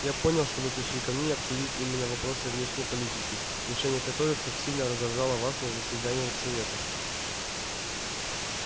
я понял что вы пришли ко мне обсудить именно вопросы внешней политики решение которых так сильно раздражало вас на заседаниях совета